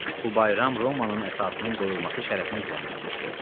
Bu bayram Romanın əsasının qoyulması şərəfinə düzənlənmişdi.